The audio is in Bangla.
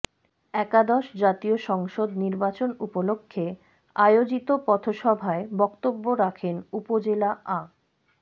একাদশ জাতীয় সংসদ নির্বাচন উপলক্ষে আয়োজিত পথসভায় বক্তব্য রাখেন উপজেলা আ